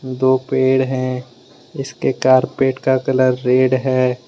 दो पेड़ हैं इसके कार्पेट का कलर रेड है।